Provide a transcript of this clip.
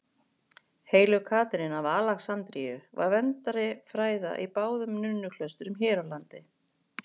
Heilög Katrín af Alexandríu var verndari fræða í báðum nunnuklaustrunum hér á landi.